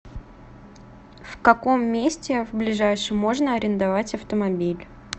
в каком месте в ближайшем можно арендовать автомобиль